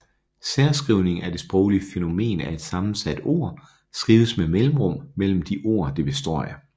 Særskrivning er det sproglige fænomen at et sammensat ord skrives med mellemrum mellem de ord det består af